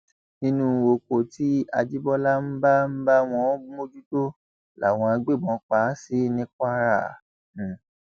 nínú oko tí àjíbólà ń bá ń bá wọn mójútó làwọn agbébọn pa á sí ní kwara